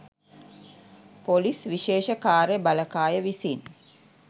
police විශේෂ කාර්ය බළකාය විසින්